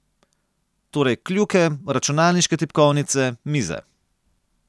Torej kljuke, računalniške tipkovnice, mize.